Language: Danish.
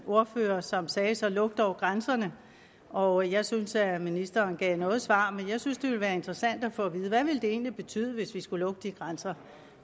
ordfører som sagde så luk dog grænserne og jeg synes at ministeren gav noget svar men jeg synes det ville være interessant at få at vide hvad ville det egentlig betyde hvis vi skulle lukke de grænser